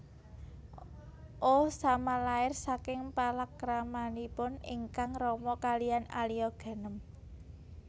Osama lair saking palakramanipun ingkang rama kalihan Alia Ghanem